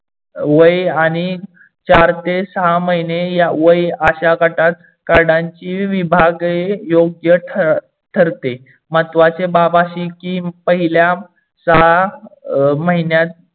वय आणि चार ते सहा महीने वय अश्या गटात कार्डानची विभागणी योग्य ठरते. महत्वाचे बाब अशी की पहिल्या सहा महिन्यात